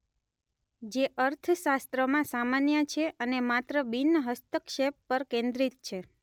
જે અર્થશાસ્ત્રમાં સામાન્ય છે અને માત્ર બિન-હસ્તક્ષેપ પર કેન્દ્રિત છે.